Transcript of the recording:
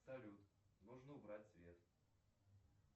салют нужно убрать свет